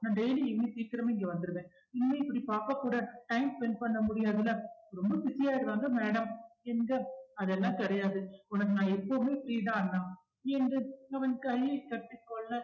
நான் daily இன்னும் சீக்கிரமே இங்க வந்துருவேன் இனிமே இப்படி பாப்பாக் கூட time spend பண்ண முடியாதுல ரொம்ப busy ஆகிடுவாங்க madam என்க அதெல்லாம் கிடையாது உனக்கு நான் எப்பவுமே free தான் அண்ணா என்று அவன் கையைக் கட்டிக்கொள்ள